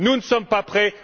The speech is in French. Nous ne sommes pas prêts.